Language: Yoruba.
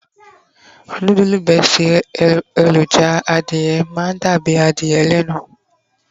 nudulu besti eleroja adìye ma n dàbí adìye lẹnu